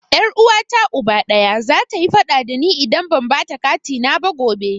Ƴar Uwata Uba ɗaya, zata yi faɗa da ni idan ban bata katina na ba gobe.